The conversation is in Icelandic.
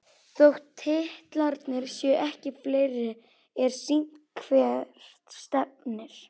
Þótt titlarnir séu ekki fleiri er sýnt hvert stefnir.